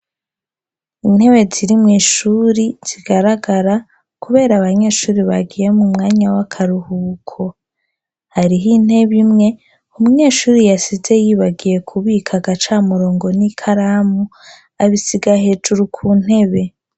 Intewe zirimwo ishuri zigaragara, kubera abanyeshuri bagiye mu mwanya w'akaruhuko hariho intebe imwe umunyeshuri yasize yibagiye kubika agaca murongo n'i karamu abisiga hejuru ku ntebe.